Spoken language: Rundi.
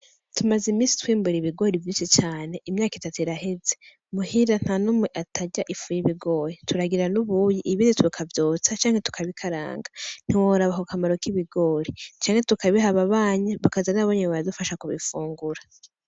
Tumaze imisi twimbura ibigori vyinshi cane imyaka itatu iraheze, muhira nta n'umwe atarya ifu y'ibigori turagira n'ubuyi ibindi tukavyotsa canke tukabikaranga ntiworaba ako kamomaro k'ibigori, canke tukabiha ababanyi bakaza n'ababanyi bakadufasha kubifungura.